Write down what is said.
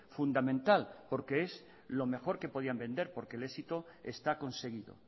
fundamental porque es lo mejor que podían vender porque el éxito está conseguido